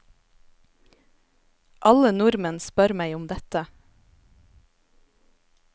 Alle nordmenn spør meg om dette.